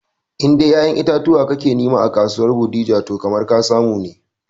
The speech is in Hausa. In dai kayan itatuwa ka ke nema a kasuwar bodija toh kamar ka samu ne